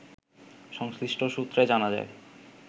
সংশ্লিষ্ট সূত্রে জানা যায়